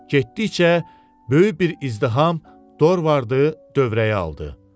Getdikcə böyük bir izdiham Dorvardı dövrəyə aldı.